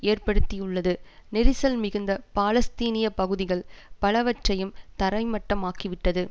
ஏற்படுத்தியுள்ளது நெரிசல் மிகுந்த பாலஸ்தீனிய பகுதிகள் பலவற்றையும் தரைமட்டமாக்கிவிட்டது